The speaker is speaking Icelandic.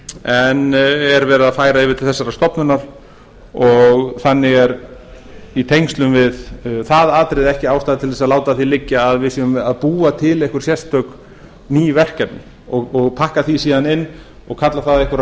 en er verið að færa yfir til þessarar stofnunar þannig er í tengslum við það atriði ekki ástæða til þess að láta að var liggja að við séum að búa til einhver sérstök ný verkefni og pakka því síðan inn og kalla það einhverja